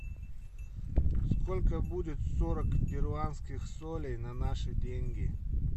сколько будет сорок перуанских солей на наши деньги